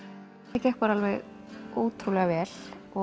það gekk bara alveg ótrúlega vel